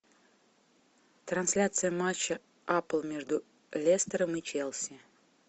трансляция матча апл между лестером и челси